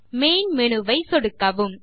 main menu வை சொடுக்கவும்